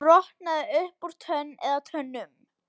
Brotnaði upp úr tönn eða tönnum